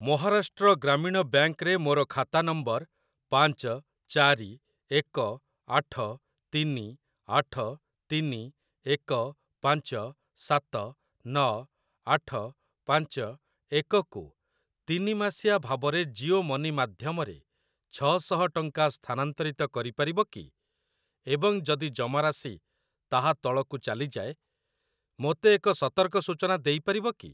Maharashtra Gramin bank ରେ ମୋର ଖାତା ନମ୍ବର ପାଞ୍ଚ ଚାରି ଏକ ଆଠ ତିନି ଆଠ ତିନି ଏକ ପାଞ୍ଚ ସାତ ନଅ ଆଠ ପାଞ୍ଚ ଏକ କୁ ତିନି ମାସିଆ ଭାବରେ ଜିଓ ମନି ମାଧ୍ୟମରେ ଛଅ ଶହ ଟଙ୍କା ସ୍ଥାନାନ୍ତରିତ କରିପାରିବ କି ଏବଂ ଯଦି ଜମାରାଶି ତାହା ତଳକୁ ଚାଲିଯାଏ ମୋତେ ଏକ ସତର୍କ ସୂଚନା ଦେଇପାରିବ କି?